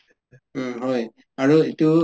উম হয় আৰু ইটো